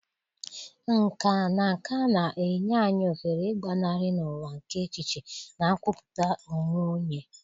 Nkà na nka na-enye anyị ohere ịgbanarị n'ụwa nke echiche na nkwupụta onwe onye